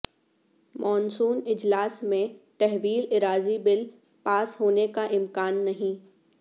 monsoon اجلاس میں تحویل اراضی بل پاس ہونے کا امکان نہیں